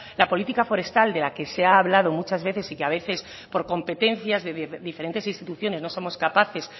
la política forestal de la que se ha hablado muchas veces y que a veces por competencias de diferentes instituciones no somos capaces